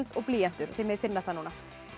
og blýantur þið megið finna það núna